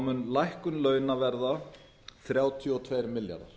mun lækkun launa verða þrjátíu og tveir milljarðar